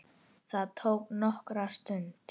Það tók nokkra stund.